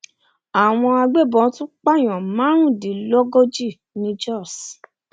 àwọn agbébọn tún pààyàn márùndínlógójì ní jóṣ